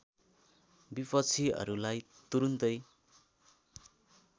विपक्षीहरुलाई तुरुन्तै